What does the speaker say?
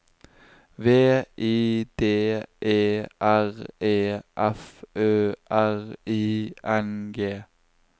V I D E R E F Ø R I N G